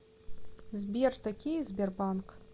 сбер такие сбербанк